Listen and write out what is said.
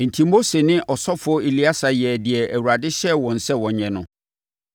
Enti, Mose ne ɔsɔfoɔ Eleasa yɛɛ deɛ Awurade hyɛɛ wɔn sɛ wɔnyɛ no.